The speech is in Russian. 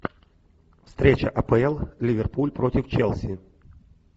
встреча апл ливерпуль против челси